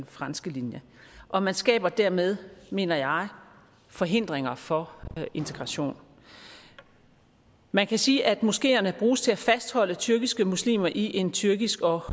franske linje og man skaber dermed mener jeg forhindringer for integration man kan sige at moskeerne bruges til at fastholde tyrkiske muslimer i en tyrkisk og